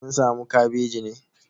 Kin samu kabeji ne?